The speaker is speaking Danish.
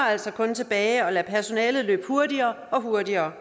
altså kun tilbage at lade personalet løbe hurtigere og hurtigere